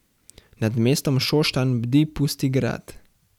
Nad mestom Šoštanj bdi Pusti grad.